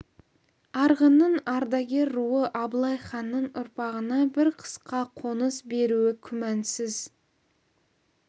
арғынның ардагер руы абылай ханның ұрпағына бір қысқа қоныс беруі күмәнсіз